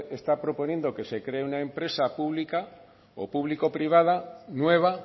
está proponiendo que se cree una empresa pública o público privada nueva